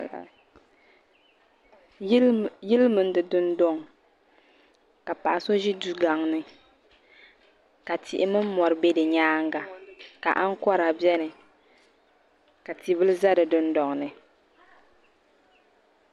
Yili mini di dundoŋ ka paɣaso ʒi dugaŋni ka tihi mini mori be di nyaanga ka aŋkora beni ka tia bila za di dindolini.